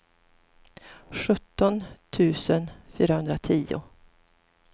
sjutton tusen fyrahundratio